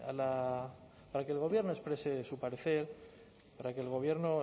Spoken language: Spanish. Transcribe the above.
que el gobierno exprese su parecer para que el gobierno